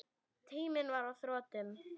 Tíminn var á þrotum.